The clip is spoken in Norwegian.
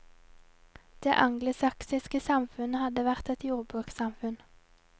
Det angelsaksiske samfunnet hadde vært et jordbrukssamfunn.